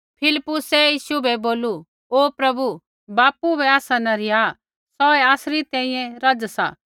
फिलिप्पुसै यीशु बै बोलू ओ प्रभु बापू बै आसा न रिहा सौहै आसरी तैंईंयैं रज़ सा